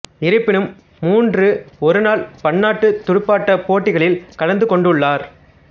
இருப்பினும் மூன்று ஒருநாள் பன்னாட்டுத் துடுப்பாட்டப் போட்டிகளில் கலந்து கொண்டுள்ளார்